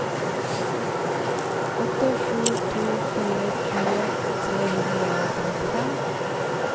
åtte sju to fire tjue tre hundre og femtifem